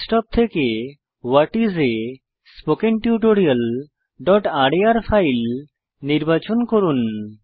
desktop থেকে what is a spoken tutorialরার file নির্বাচন করুন